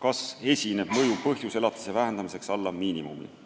kas esineb mõjuv põhjus elatise vähendamiseks alla miinimumi või mitte.